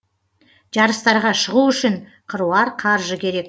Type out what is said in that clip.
жарыстарға шығу үшін қыруар қаржы керек